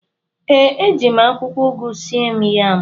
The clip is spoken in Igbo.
ee, eji m akwụkwọ ugu sie m yam.